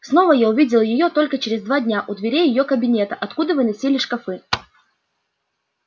снова я увидел её только через два дня у дверей её кабинета откуда выносили шкафы